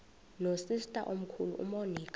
nosister omkhulu umonica